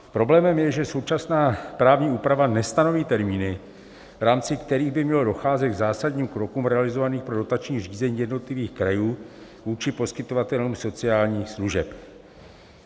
Problémem je, že současná právní úprava nestanoví termíny, v rámci kterých by mělo docházet k zásadním krokům realizovaným pro dotační řízení jednotlivých krajů vůči poskytovatelům sociálních služeb.